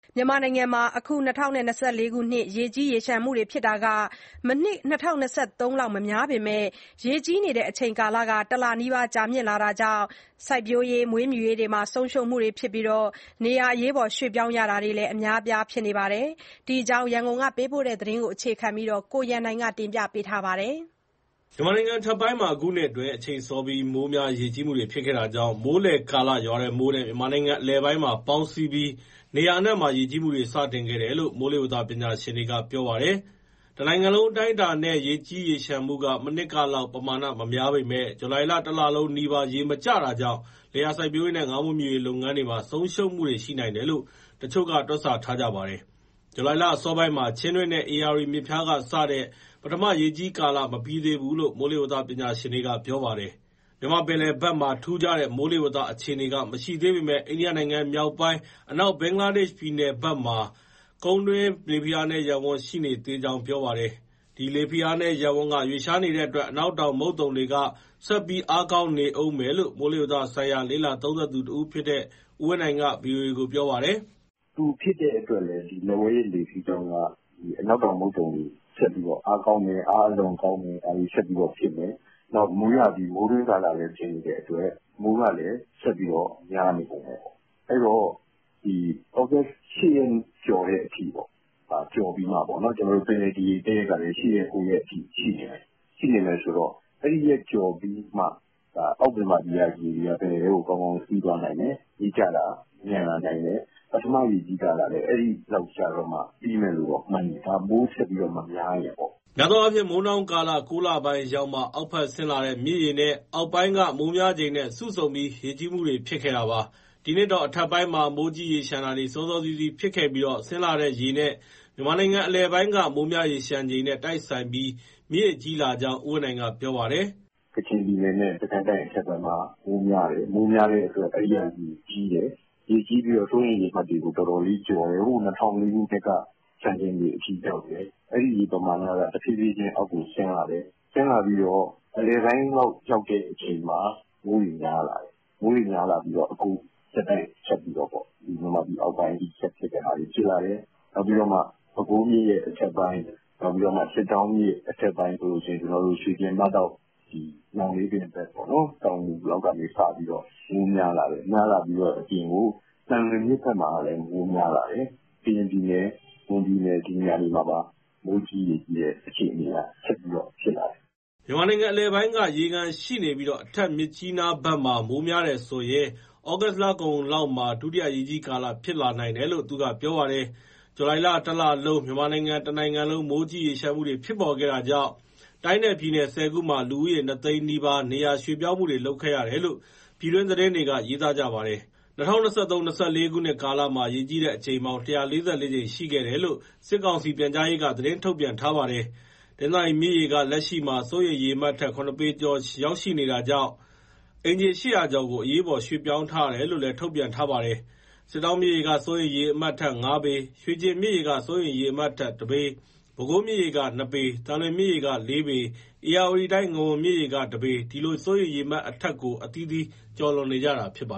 မြန်မာနိုင်ငံမှာ အခုနှစ်ရေကြီးတာက မနှစ်က ၂၀၂၃ လောက် မများပေမဲ့ ရေကြီးတဲ့အချိန်ကာလ တလနီးပါး ကြာမြင့်လာတာကြောင့် စိုက်ပျိုး၊ မွေးမြူရေးမှာ ဆုံးရှုံးမှုတွေရှိပြီး နေရာရွှေ့ပြောင်းရတာတွေလည်း အများအပြား ရှိနေပါတယ်။ ဒီအကြောင်း ရန်ကုန်ပေးပို့တဲ့သတင်းကို အခြေခံပြီး တင်ပြပေးထားပါတယ်။ မြန်မာနိုင်ငံအထက်ပိုင်းမှာ အခုနှစ်အတွင်း အချိန်စောပြီး မိုးများ ရေကြီးမှုတွေ ဖြစ်ခဲ့တာကြောင့် မိုးလယ်ကာလရွာတဲ့မိုးနဲ့ မြန်မာနိုင်ငံ အလယ်ပိုင်းမှာ ပေါင်းစည်းပြီး နေရာအနှံမှာ ရေကြီးမှုတွေ စတင်ခဲ့တယ်လို့ မိုးလေဝသ ပညာရှင်တွေက ပြောပါတယ်။ တနိုင်ငံလုံးအတိုင်းအတာနဲ့ ရေကြီးရေလျှံမှုက မနှစ်ကလောက် ပမာဏမများပေမဲ့ ဇူလိုင်လ တလလုံးနီးပါး ရေမကျတာကြောင့် လယ်ယာ စိုက်ပျိုးရေးနဲ့ ငါးမွေးမြူရေး လုပ်ငန်းတွေမှာ ဆုံးရှုံးမှုတွေ ရှိနိုင်တယ်လို့ တချို့က တွက်ဆထားကြပါတယ်။ ဇူလိုင်လ အစောပိုင်းမှာ ချင်းတွင်းနဲ့ ဧရာဝတီမြစ်ဖျားကစတဲ့ ပထမရေကြီးကာလက မပြီးသေးဘူးလို့ မိုးလေဝသ ပညာရှင်တွေက ပြောပါတယ်။ မြန်မာ့ပင်လယ်ဘက်မှာ ထူးခြားတဲ့ မိုးလေဝသ အခြေအနေက မရှိသေးပေမဲ့ အိန္ဒိယနိုင်ငံ မြောက်ပိုင်း၊ အနောက် ဘင်္ဂလားဒေ့ရှ် ပြည်နယ်ဘက်မှာ ကုန်းတွင်း လေဖိအားနည်းရပ်ဝန်းက ရှိနေသေးကြောင်း ပြောပါတယ်။ ဒီလေဖိအားနည်းရပ်ဝန်းက ရွှေ့လျားနေတဲ့အတွက် အနောက်တောင်မုတ်သုန်လေက ဆက်ပြီး အားကောင်းနေဦးမယ်လို့ မိုးလေဝသဆိုင်ရာ လေ့လာသုံးသပ်သူတဦးဖြစ်တဲ့ ဦးဝင်းနိုင်က ဗွီအိုအေကို ပြောပါတယ်။ " သူဖြစ်တဲ့အတွက်လည်း လက်ဝဲရစ် လေစီးကြောင်းက အနောက်တောင်မုတ်သုန်လေ ဆက်ပြီးအားကောင်းမယ်၊ အားအလွန်ကောင်းမယ်၊ ဒါတွေ ဆက်ပြီးတော့ဖြစ်မယ်။ နောက် မိုးရာသီ မိုးတွင်းကာလလည်း ဖြစ်တဲ့အတွက် မိုးကလည်း ဆက်ပြီး များနေဦးမယ်ပေါ့။ အဲဒီတော့ ဩဂုတ် ၈ရက် ကျော်ပြီးမှပေါ့ ပင်လယ်ဒီရေတက်တဲ့ ရက်ကလည်း ၈ရက်၊ ၉ရက်အထိ ရှိနေမယ်၊ အဲဒီရက်ကျော်ပြီးမှ အောက်မြန်မာပြည်ကရေတွေက ပင်လယ်ထဲကို ကောင်းကောင်း စီးသွားနိုင်မယ်၊ ရေကျတာ မြန်လာနိုင်မယ်။ ပထမရေကြီးကာလလည်း အဲဒီလောက်တော့မှ ပြီးမယ်လို့မှန်တယ်။ မိုးဆက်ပြီး မများရင်ပေါ့။" များသောအားဖြင့် မိုးနှောင်းကာလ ၉လပိုင်းရောက်မှ အောက်ဘက်ဆင်းလာတဲ့ မြစ်ရေနဲ့ အောက်ပိုင်းက မိုးများချိန်နဲ့ စုဆုံပြီး ရေကြီးမှုတွေ ဖြစ်ခဲ့တာပါ။ ဒီနှစ်တော့ အထက်ပိုင်းမှာ မိုးကြီး၊ ရေလျှံတာတွေ စောစောစီးစီး ဖြစ်ခဲ့ပြီး ဆင်းလာတဲ့ရေနဲ့ မြန်မာနိုင်ငံအလယ်ပိုင်းက မိုးများ၊ ရေလျှံချိန်နဲ့ တိုက်ဆိုင်ပြီး မြစ်ရေကြီးလာကြောင်း ဦးဝင်းနိုင်က ပြောပါတယ်။ " ကချင်ပြည်နယ်နဲ့ စစ်ကိုင်းတိုင်း အထက်ပိုင်းမှာ မိုးများတဲ့အတွက် အဲဒီက ရေကြီးတယ်၊ စိုးရိမ်ရေမှတ်တွေကို တော်တော်လေးကျော်တယ်။ ၂၀၀၄ ခုနှစ်က စံချိန်တွေအထိ ရောက်တယ်။ အဲဒီရေပမာဏက တဖြည်းဖြည်း အောက်ကိုဆင်းလာတယ်။ ဆင်းလာပြီး အလယ်ပိုင်းလောက် ရောက်တဲ့အချိန်မှာ မိုးတွေများလာတယ်။ အကုန်ဆက်တိုက် မြန်မာပြည် အောက်ပိုင်းအထိ ဆက်ဖြစ်တာတွေ ဖြစ်လာတယ်။ နောက်ပြီး ပဲခူးမြစ်ရဲ့ အထက်ပိုင်း၊ စစ်တောင်းမြစ်ရဲ့ အထက်ပိုင်း ရွှေကျင်၊ မဒေါက်၊ ညောင်လေးပင်ဘက်ပေါ့နော်၊ တောင်ငူ လောက်ကနေစပြီးတော့ မိုးများလာတယ်၊ များလာပြီး သံလွင်ဘက်မှာလည်း မိုးများလာတယ်။ ကရင်ပြည်နယ် မွန်ပြည်နယ် ဒီနေရာတွေမှာပါ မိုးကြီး၊ ရေကြီးတဲ့ အခြေအနေက ဆက်ပြီး ဖြစ်လာတယ်။" မြန်မာနိုင်ငံအလယ်ပိုင်းက ရေခံရှိနေပြီး၊ အထက်ပိုင်းမြစ်ကြီးနားဘက်မှာ မိုးများတယ်ဆိုရင် ဩဂုတ်လကုန်လောက်မှာ ဒုတိယ ရေကြီးကာလ ဖြစ်လာနိုင်တယ်လို့ သူကပြောပါတယ်။ ဇူလိုင်တလုံး မြန်မာတနိုင်ငံလုံး မိုးကြီး၊ ရေလျှံမှုတွေ ဖြစ်ပေါ်ခဲ့တာကြောင့် တိုင်းနဲ့ပြည်နယ် ၁၀ခုမှာ လူဦးရေ ၂သိန်းနီးပါး နေရာရွှေ့ပြောင်းမှုတွေ လုပ်ခဲ့ရတယ်လို့ ပြည်တွင်းသတင်းတွေက ရေးသားကြပါတယ်။ ၂၀၂၃-၂၄ ခုနှစ်ကာလမှာ ရေကြီးတဲ့အကြိမ်ပေါင်း (၁၄၄) ကြိမ်ရှိခဲ့တယ်လို့ စစ်ကောင်စီ ပြန်ကြားရေးက သတင်း ထုတ်ပြန်ထားပါတယ်။ တနင်္သာရီမြစ်ရေက လက်ရှိမှာ စိုးရိမ်ရေအမှတ်ထက် ၇ပေကျော်ပြီး ရောက်ရှိနေတာကြောင့် အိမ်ခြေ ၈၀၀ ကျော်ကို အရေးပေါ် ရွှေ့ပြောင်းထားတယ်လို့ ထုတ်ပြန်ထားတာပါ။ စစ်တောင်းမြစ်ရေက စိုးရိမ်ရေအမှတ်အထက် ၅ပေ၊ ရွှေကျင်မြစ်ရေက စိုးရိမ်ရေအမှတ်အထက် ၁ ပေ၊ ပဲခူးမြစ်ရေက ၂ ပေ၊ သံလွင်မြစ်ရေက ၄ ပေ၊ ဧရာဝတီတိုင်း ငဝန်မြစ်ရေက ၁ ပေ ဒီလို စိုးရိမ်ရေအမှတ်အထက်ကို အသီသီး ကျော်လွန်နေကြတာပါ